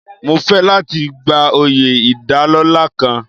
Mo fẹ́ láti gba oyè ìdálọ́lá kan.